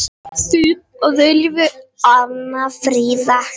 Þín að eilífu, Anna Fríða.